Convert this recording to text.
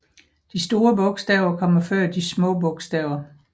De store bogstaver kommer før de små bogstaver